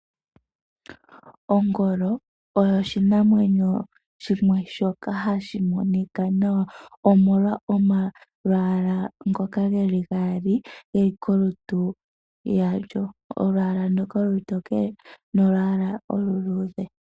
Ongolo oyo oshinamwenyo shimwe shoka hashi monika nawa, omolwa omalwaala ngoka geli gaali geli kolutu lwasho. Olwaala ndoka olutokele nolwaala oluluudhe.